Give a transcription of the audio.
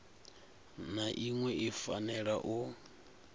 na iṅwe i fanela u